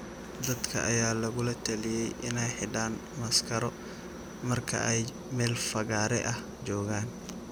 Dadka ayaa lagula taliyay inay xidhaan maaskaro marka ay meel fagaare ah joogaan.